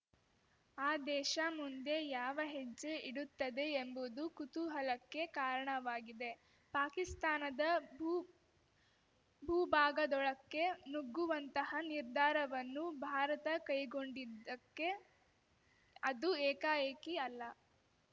ಆ ದೇಶ ಮುಂದೆ ಯಾವ ಹೆಜ್ಜೆ ಇಡುತ್ತದೆ ಎಂಬುದು ಕುತೂಹಲಕ್ಕೆ ಕಾರಣವಾಗಿದೆ ಪಾಕಿಸ್ತಾನದ ಭೂ ಭೂಭಾಗದೊಳಕ್ಕೆ ನುಗ್ಗುವಂತಹ ನಿರ್ಧಾರವನ್ನು ಭಾರತ ಕೈಗೊಂಡಿದ್ದಕ್ಕೆ ಅದು ಏಕಾಏಕಿ ಅಲ್ಲ